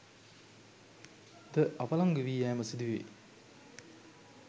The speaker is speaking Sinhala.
ද අවලංගුවී යෑම සිදුවේ